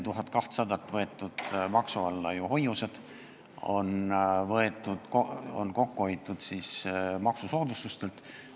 Maksu alla on võetud ju hoiused, on kokku hoitud maksusoodustustelt.